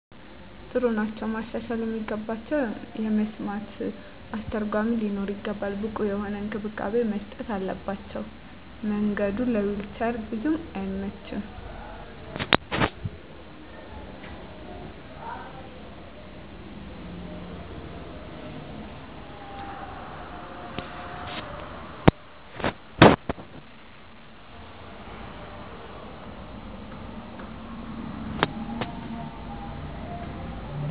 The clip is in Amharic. ጥሩ ናቸዉ። ማሻሻል የሚገባቸዉ የመስማት አስተርጎሚ ሊኖር ይገባል። ብቁ የሆነ እንክብካቤ መስጠት አለባቸዉ። መንገዱ ለዊንቸር ቡዙም አይመችም።